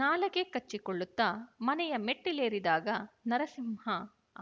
ನಾಲಗೆ ಕಚ್ಚಿಕೊಳ್ಳುತ್ತ ಮನೆಯ ಮೆಟ್ಟಲೇರಿದಾಗ ನರಸಿಂಹ